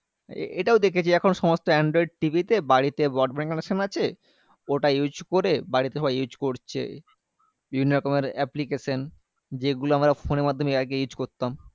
এ এটাও দেখেছি এখন সমস্ত androidTV তে বাড়িতে broadband connection আছে ওটা use করে বাড়িতে সবাই use করছে বিভিন্ন রকমের application যেগুলা আমরা phone এর মাধ্যমে এর আগে use করতাম